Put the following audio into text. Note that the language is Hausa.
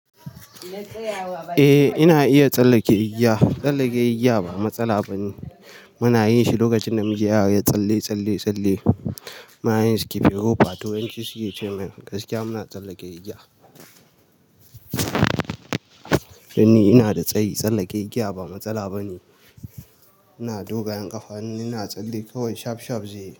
Eh ina iya tsallake igiya, tsallake igiya ba matsala bane muna yin shi lokacin namiji yara ya tsalle-tsalle-tsalle. Munayin skipping robe to yanci suke ce gaskiya muna tsallake igiya. Dani ina da tsayi, tsallake igiya ba matsala bane. Ina dogayen ƙafa ina tsalle kawai shaf shaf zai yi.